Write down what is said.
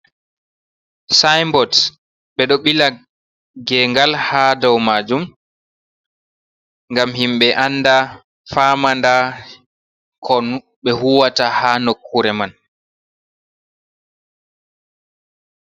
Sinbots ɓe ɗo bila gengal ha dow majum ngam himɓe anɗa famada kon ɓe huwata ha nokkure man.